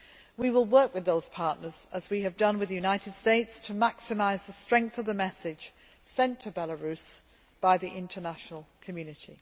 We will work with those partners, as we have done with the United States, to maximise the strength of the message sent to Belarus by the international community.